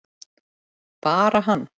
Bara hann?